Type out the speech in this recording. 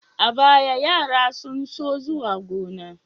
A baya, yara sun so zuwa gona.